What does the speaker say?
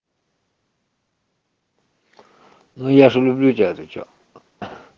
ну я же люблю тебя ты че